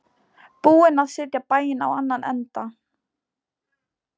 Búin að setja bæinn á annan endann.